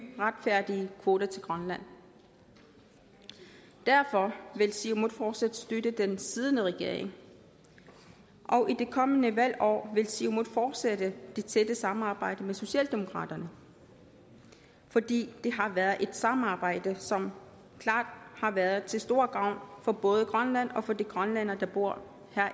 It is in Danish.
retfærdige kvoter til grønland derfor vil siumut fortsat støtte den siddende regering i det kommende valgår vil siumut fortsætte det tætte samarbejde med socialdemokraterne fordi det har været et samarbejde som klart har været til stor gavn for både grønland og for de grønlændere der bor